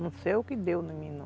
Não sei o que deu em mim, não.